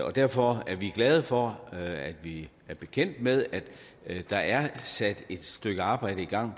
og derfor er vi glade for at vi er bekendt med at der er sat et stykke arbejde i gang